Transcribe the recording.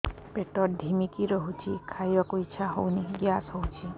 ପେଟ ଢିମିକି ରହୁଛି ଖାଇବାକୁ ଇଛା ହଉନି ଗ୍ୟାସ ହଉଚି